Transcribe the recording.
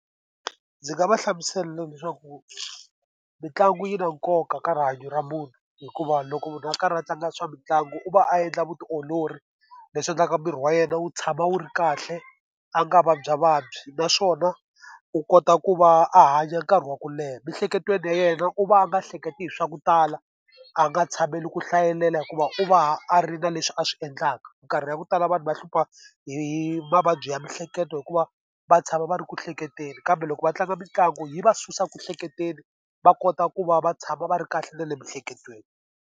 Ndzi nga va hlamusela leswaku mitlangu yi na nkoka ka rihanyo ra munhu, hikuva loko munhu a karhi a tlanga swa mitlangu u va a endla vutiolori leswi endlaka miri wa yena wu tshama wu ri kahle a nga vabya vabyi. Naswona u kota ku va a hanya nkarhi wa ku leha. Miehleketweni ya yena u va a nga hleketi hi swa ku tala, a nga tshameli ku hlayelela hikuva u va a ri na leswi a swi endlaka. Nkarhi ya ku tala vanhu va hlupha hi hi mavabyi ya miehleketo hikuva va tshama va ri ku hleketeni, kambe loko va tlanga mitlangu yi va susa ku hleketeni, va kota ku va va tshama va ri kahle na le miehleketweni.